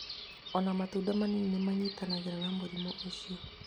O na matunda manini nĩ manyitanagĩra na mũrimũ ũcio.